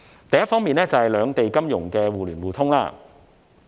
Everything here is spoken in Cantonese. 第一方面，是兩地金融互聯互通。